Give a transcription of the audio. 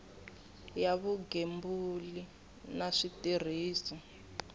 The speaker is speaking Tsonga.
ya vugembuli na switirhiso ku